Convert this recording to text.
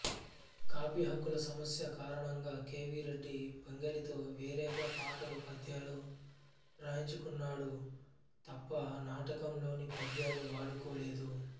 కాపీహక్కుల సమస్య కారణంగా కె వి రెడ్డి పింగళితో వేరేగా పాటలు పద్యాలు రాయించుకున్నాడు తప్ప నాటకంలోని పద్యాలు వాడుకోలేదు